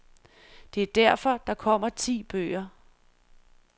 Det er derfor, der kommer ti bøger.